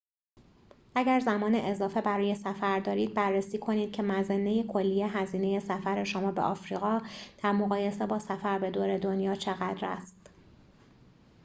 اگر زمان اضافه برای سفر دارید بررسی کنید که مظنه کلی هزینه سفر شما به آفریقا در مقایسه با سفر به دور دنیا چقدر است